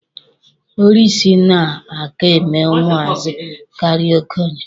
oriisi na-aka eme ụmụazị karịa okenye.